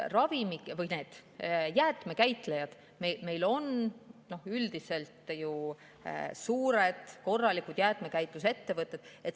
Aga jäätmekäitlejad on üldiselt ju suured korralikud jäätmekäitlusettevõtted.